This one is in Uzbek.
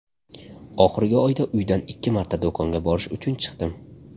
Oxirgi oyda uydan ikki marta do‘konga borish uchun chiqdim.